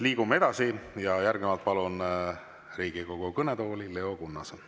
Liigume edasi ja järgnevalt palun Riigikogu kõnetooli Leo Kunnase.